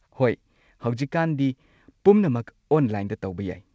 ꯍꯣꯏ! ꯍꯧꯖꯤꯛꯀꯥꯟꯗꯤ ꯄꯨꯝꯅꯃꯛ ꯑꯣꯟꯂꯥꯏꯟꯗ ꯇꯧꯕ ꯌꯥꯏ꯫